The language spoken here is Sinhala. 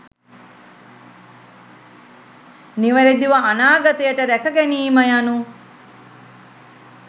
නිවැරැදිව අනාගතයට රැක ගැනීම යනු